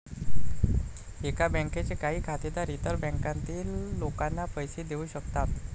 एका बँकेचे काही खातेदार इतर बँकांतील लोकांना पैसे देवू शकतात.